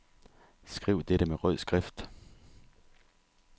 Skriv dette med rød skrift.